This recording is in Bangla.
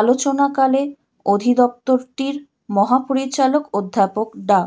আলোচনাকালে অধিদপ্তরটির মহাপরিচালক অধ্যাপক ডা